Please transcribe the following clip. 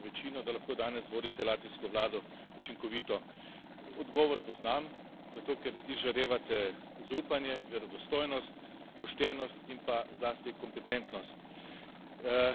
izjemno pomembno večino, da lahko danes vodite latvijsko vlado učinkovito. Odgovor poznam, zato ker izžarevate zaupanje, verodostojnost, poštenost in pa zlasti kompetentnost.